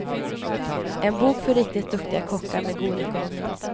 En bok för riktigt duktiga kockar med god ekonomi.